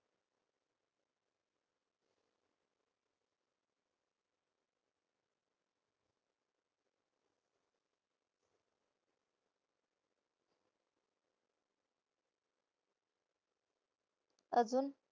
अजून?